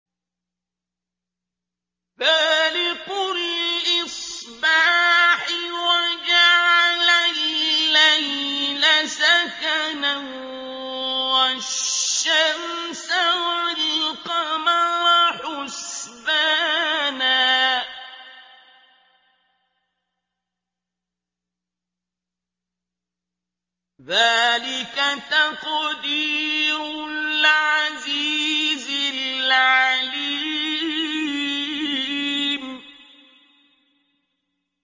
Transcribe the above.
فَالِقُ الْإِصْبَاحِ وَجَعَلَ اللَّيْلَ سَكَنًا وَالشَّمْسَ وَالْقَمَرَ حُسْبَانًا ۚ ذَٰلِكَ تَقْدِيرُ الْعَزِيزِ الْعَلِيمِ